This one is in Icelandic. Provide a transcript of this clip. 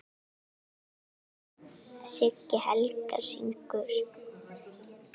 Siggi Helga: Syngur?